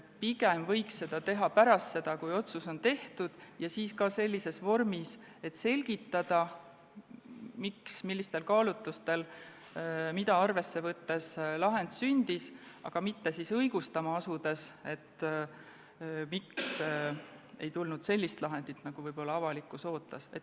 Pigem võiks seda teha pärast seda, kui otsus on tehtud, ja ka siis sellises vormis, et selgitatakse, millistel kaalutlustel, mida arvesse võttes lahend sündis, aga mitte õigustama asudes, miks ei tulnud sellist lahendit, nagu avalikkus võib-olla ootas.